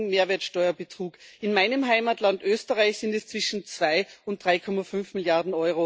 EUR wegen Mehrwertsteuerbetrug, in meinem Heimatland Österreich sind es zwischen 2 und 3,5 Mrd.